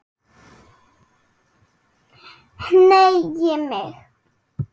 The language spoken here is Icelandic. Hneigi mig.